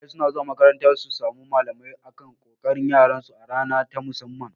Iyaye suna zuwa makaranta su samu malamai akan ƙoƙarin yaran su a rana ta musamman